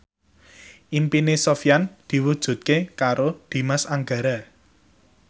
impine Sofyan diwujudke karo Dimas Anggara